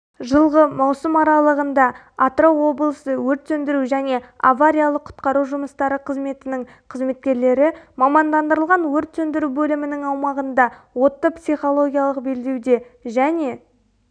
жылғы маусым аралығында атырау облысы өрт сөндіру және авариялық-құтқару жұмыстары қызметінің қызметкерлері мамандандырылған өрт сөндіру бөлімінің аумағында отты психологиялық белдеуде және